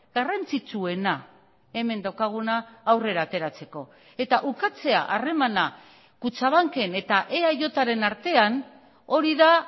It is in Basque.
garrantzitsuena hemen daukaguna aurrera ateratzeko eta ukatzea harremana kutxabanken eta eajren artean hori da